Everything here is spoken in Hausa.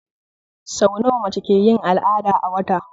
Sau nawa mace ke yin al'ada a wata?